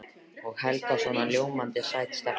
Og Helga svona ljómandi sæt stelpa.